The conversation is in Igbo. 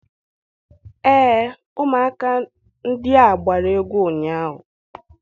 Ee, ụmụaka ndị a gbara egwu ụnyaahụ.